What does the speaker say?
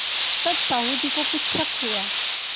तब साहु जी को कुछ शक हुआ